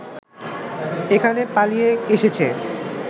এখানে পালিয়ে এসেছে